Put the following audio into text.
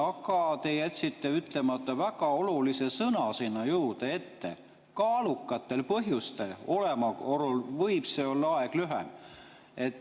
Aga te jätsite ütlemata väga olulise sõna sinna juurde, et kaalukate põhjuste olemasolul võib see olla aeg lühem.